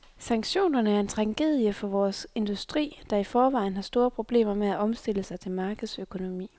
Sanktionerne er en tragedie for vores industri, der i forvejen har store problemer med at omstille sig til markedsøkonomi.